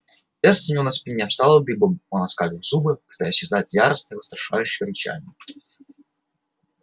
шерсть у него на спине встала дыбом он оскалил зубы пытаясь издать яростное устрашающее рычание